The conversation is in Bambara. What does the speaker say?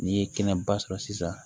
N'i ye kɛnɛba sɔrɔ sisan